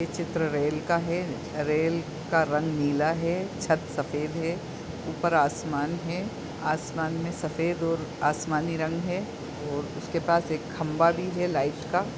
ये चित्र रेल का है रेल का रंग नीला है छत सफ़ेद है ऊपर आसमान है आसमान में सफ़ेद और आसमानी रंग है और उसके पास एक खम्भा भी है। लाइट का --